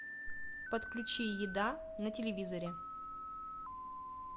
подключи еда на телевизоре